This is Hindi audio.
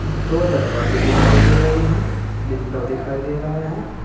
दो दरवाजे दिखाई दे रहे हैं विंडो दिखाई दे रहे हैं।